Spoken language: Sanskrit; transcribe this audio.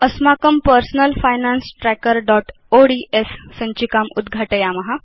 अस्माकं personal finance trackerओड्स् सञ्चिकाम् उद्घाटयाम